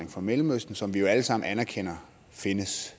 fra mellemøsten som vi jo alle sammen anerkender findes